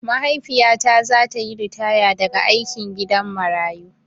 Maiahifiyata zata yi ritaya daga aikin gidan marayu.